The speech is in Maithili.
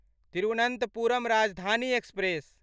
तिरुवनन्तपुरम राजधानी एक्सप्रेस